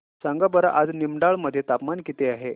सांगा बरं आज निमडाळे मध्ये तापमान किती आहे